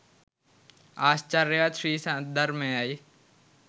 ආශ්චර්යයවත් ශ්‍රී සද්ධර්මයයි